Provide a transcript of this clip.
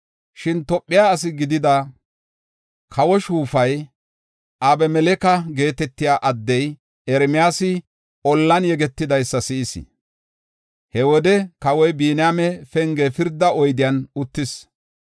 Shin Tophe ase gidida, kawo morinay, Abemeleke geetetiya addey Ermiyaasi ollan yegetidaysa si7is. He wode kawoy Biniyaame Penge pirda oyden uttis.